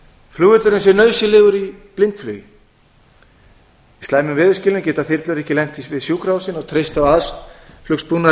flugvöllurinn sé nauðsynlegur í blindflugi í slæmum veðurskilyrðum geta þyrlur ekki lent við sjúkrahúsin og treysta á aðflugsbúnað